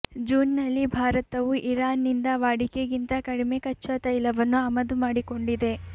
ಜೂನ್ನಲ್ಲಿ ಭಾರತವು ಇರಾನ್ನಿಂದ ವಾಡಿಕೆಗಿಂತ ಕಡಿಮೆ ಕಚ್ಚಾ ತೈಲವನ್ನು ಆಮದು ಮಾಡಿಕೊಂಡಿದೆ